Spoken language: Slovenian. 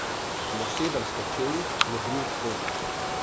Na sedemsto čevljih je bril skozenj.